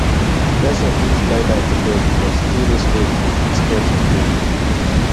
person fit lie down for bed but still raise leg to fit touch im toe